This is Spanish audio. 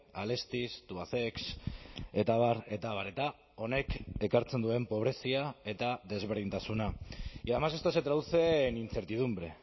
alestis tubacex eta abar eta abar eta honek ekartzen duen pobrezia eta desberdintasuna y además esto se traduce en incertidumbre